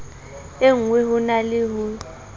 engwe ho na le ho